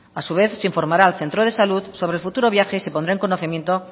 a su vez se informará al centro de salud sobre el futuro viaje y se pondrá en conocimiento